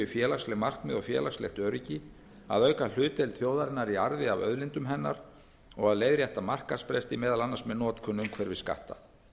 félagsleg markmið og félagslegt öryggi að auka hlutdeild þjóðarinnar í arði af auðlindum hennar að leiðréttingu markaðsbresta meðal annars með notkun umhverfisskatta